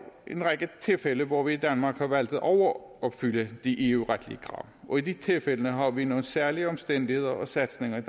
en række tilfælde hvor vi i danmark har valgt at overopfylde de eu retlige krav og i de tilfælde har vi nogle særlige omstændigheder og satsninger i